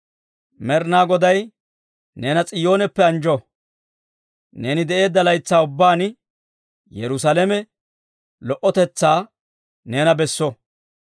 Med'inaa Goday neena S'iyooneppe anjjo! Neeni de'eedda laytsaa ubbaan Yerusaalame lo"otetsaa neena besso.